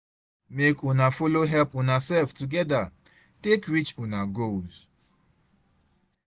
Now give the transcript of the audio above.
mek una follow help unasef togeda take reach una goals